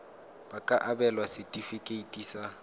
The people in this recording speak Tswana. ba ka abelwa setefikeiti sa